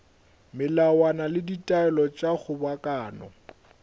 melawana le ditaelo tša kgobokano